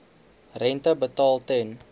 rente betaal ten